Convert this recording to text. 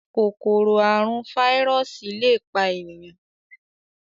Kòkòrò àrùn fáírọọsì lẹ pá ènìyàn.